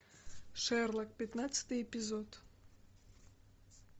шерлок пятнадцатый эпизод